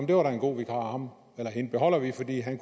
det var da en god vikar ham eller hende beholder vi fordi han